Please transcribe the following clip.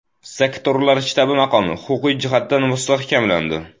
Sektorlar shtabi maqomi huquqiy jihatdan mustahkamlandi.